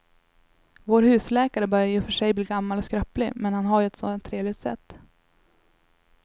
Vår husläkare börjar i och för sig bli gammal och skröplig, men han har ju ett sådant trevligt sätt!